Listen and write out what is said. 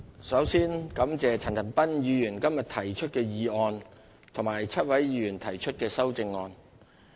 首先感謝陳恒鑌議員今日提出的議案，以及7位議員提出的修正案。